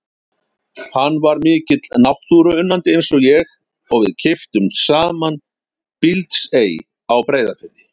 Hann var mikill náttúruunnandi eins og ég og við keyptum saman Bíldsey á Breiðafirði.